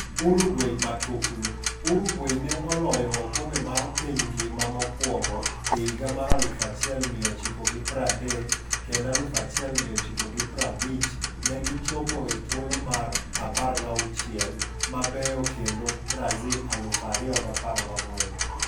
Uruguay Matuklu: Uruguay ne oloyo oKombe mar piny ngima mokwongo e higa mar 1930 kendo 1950 ne gi chopo e thuolo mar 16 mabeyo kende Brazil 2014.